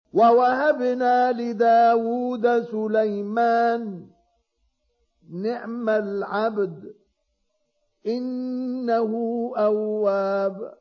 وَوَهَبْنَا لِدَاوُودَ سُلَيْمَانَ ۚ نِعْمَ الْعَبْدُ ۖ إِنَّهُ أَوَّابٌ